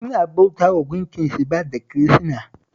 Suna bautawa Gunkin Shiba da Kirishina